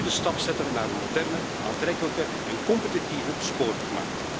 We moeten nu de stap zetten naar een moderne, aantrekkelijke en competitieve spoorwegmarkt.